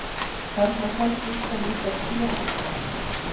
Þarna sá stúlkan líka tréaska.